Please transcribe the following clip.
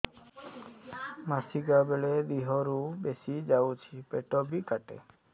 ମାସିକା ବେଳେ ଦିହରୁ ବେଶି ଯାଉଛି ପେଟ ବି କାଟେ